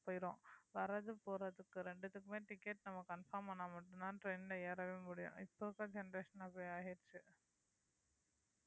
போயிடும் வரது போறதுக்கு ரெண்டுத்துக்குமே ticket நம்ம confirm ஆனா மட்டும்தான் train ல ஏறவே முடியும் இப்ப இருக்குற generation அப்படியே ஆயிருச்சு